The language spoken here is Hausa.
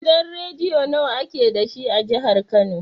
Gidan rediyo nawa ake dashi a jihar kano?